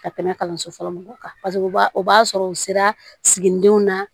Ka tɛmɛ kalanso fɔlɔ mɔgɔw kan paseke u b'a o b'a sɔrɔ u sera siginidenw na